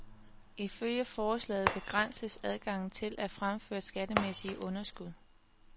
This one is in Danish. Ifølge forslaget begrænses adgangen til at fremføre skattemæssige underskud.